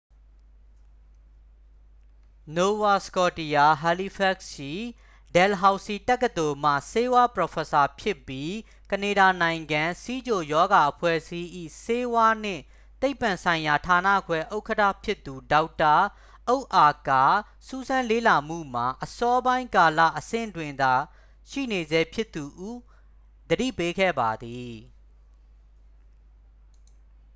nova scotia halifax ရှိ dalhousie တက္ကသိုလ်မှ ဆေးဝါးပရော်ဖက်ဆာဖြစ်ပြီး ကနေဒါနိုင်ငံ ဆီးချိုရောဂါအဖွဲ့အစည်း၏ ဆေးဝါးနှင့်သိပ္ပံဆိုင်ရာဌာနခွဲဥက္ကဌဖြစ်သူ ဒေါက်တာ အုဒ်အာက စူးစမ်းလေ့လာမှုမှာ အစောပိုင်းကာလ အဆင့်တွင်သာ ရှိနေဆဲဖြစ်သူဟု သတိပေးခဲ့ပါသည်